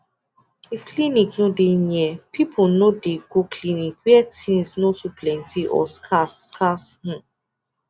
if clinic no dey near people no dey go clinic where things no too plenty or scarce scarcehmm